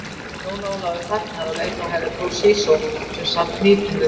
Jón Ólafur þagnaði og leit á Herra Toshizo sem sat hnípinn við borðið.